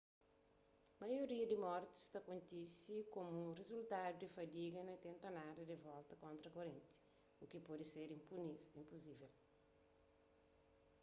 maioria di mortis ta kontise komu rizultadu di fadiga na tenta nada di volta kontra korenti u ki pode ser inpusível